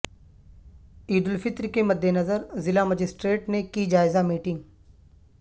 عیدالفطر کے مدنظر ضلع مجسٹریٹ نے کی جائزہ میٹنگ